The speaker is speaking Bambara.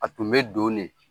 A tun bɛ donnen